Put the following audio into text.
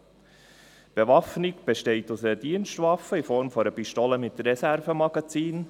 Die Bewaffnung besteht aus einer Dienstwaffe in Form einer Pistole mit Reservemagazin.